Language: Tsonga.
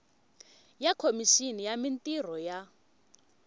ya khomixini ya mintirho ya